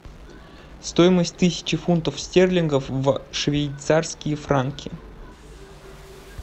стоимость тысячи фунтов стерлингов в швейцарские франки